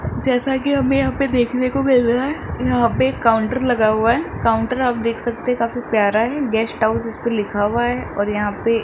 जैसा की हमे यहां पे देखने को मिल रहा है यहां पे एक काउंटर लगा हुआ है काउंटर आप देख सकते है काफी प्यारा है गेस्ट हाउस इस पर लिखा हुआ है और यहां पे --